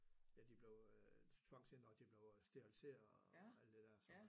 Ja de blev øh tvangsindlagt de blev steriliseret og alt det der sådan noget